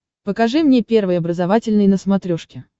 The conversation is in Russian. покажи мне первый образовательный на смотрешке